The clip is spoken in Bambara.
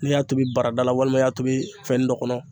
N'i y'a tobi barada la walima i y'a tobi fɛnnin dɔ kɔnɔ